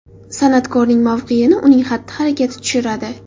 San’atkorning mavqeini uning xatti-harakati tushiradi.